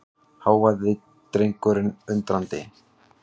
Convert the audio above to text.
hváði drengurinn undrandi.